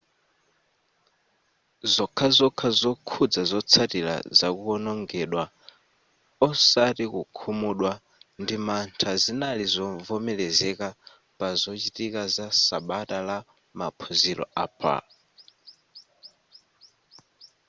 zokhazokha zokhuza zotsatira zakuwonongedwa osati kukhumudwa ndi mantha zinali zovomerezeka pa zochitika za sabata la maphunziro a pa